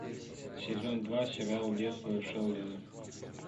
сезон два сериал детство шелдона